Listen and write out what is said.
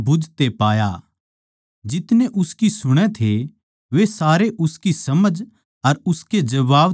जितने उसकी सुणै थे वे सारे उसकी समझ अर उसके जवाब तै हैरान थे